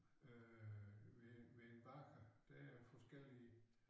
Øh ved ved en bager der er forskellige